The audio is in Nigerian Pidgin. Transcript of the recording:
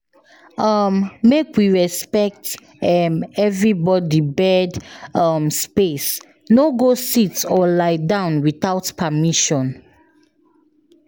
um Make we respect um everybody bed um space, no go sit or lie down without permission.